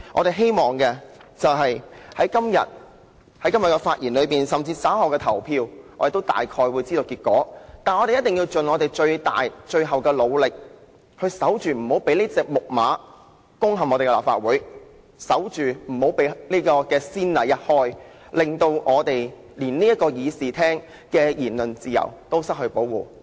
雖然對於這項議案稍後投票的結果，我們亦心裏有數，但我們仍希望藉着發言，盡最大和最後努力守着防線，守着不要開先例，以免這隻"木馬"攻陷立法會，令議員在議事廳享有的言論自由都失去保障。